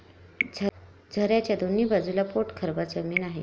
झऱ्याच्या दोन्ही बाजूला पोटखरबा जमीन आहे.